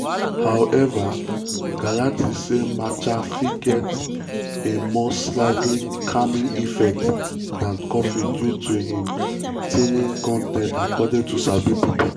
however galati say matcha fit get a more slightly 'calming effect' dan coffee due to im l-theanine con ten t according to sabi pipo.